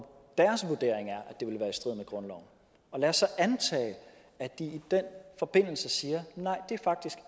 strid med grundloven lad os så antage at de i den forbindelse siger